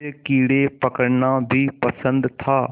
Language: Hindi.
उसे कीड़े पकड़ना भी पसंद था